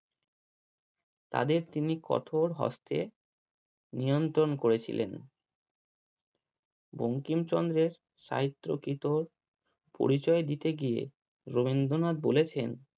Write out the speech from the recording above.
তাদের তিনি কঠোর হস্থে নিয়ন্ত্রণ করেছিলেন। বঙ্কিমচন্দ্রের সাহিত্যকৃত পরিচয় দিতে গিয়ে রবীন্দ্রনাথ বলেছেন